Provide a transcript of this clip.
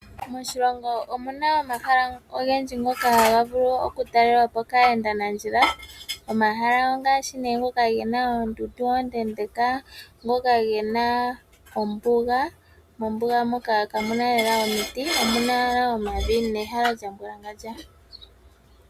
Moshilongo omu na omahala ogendji ngoka haga vulu oku talelwapo kaayendanandjila. Omahala ongaashi nee ngoka ge na oondundu oonde unene, ngoka ga mbugala na mombuga ka mu na lela omiti omu na owala omavi nehala lya mbwalangandja.